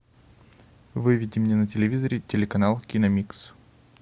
выведи мне на телевизоре телеканал киномикс